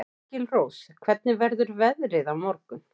Engilrós, hvernig verður veðrið á morgun?